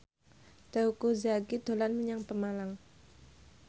Teuku Zacky dolan menyang Pemalang